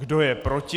Kdo je proti?